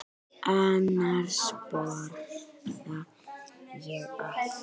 Annars borða ég allt.